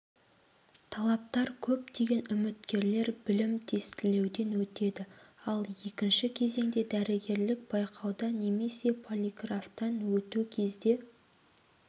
талаптар көптеген үміткерлер білім тестілеуден өтеді ал екінші кезеңде дәрігерлік байқауда немесе полиграфтан өту кезде